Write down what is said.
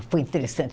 Foi interessante.